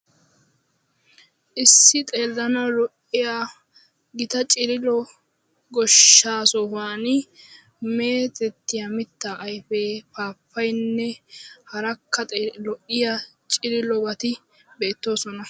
Issi xeellanawu lo'iya gita cililo goshshaa sohuwan meetettiya mittaa ayifee paappayayinne harakka lo'iya cililobati beettoosona.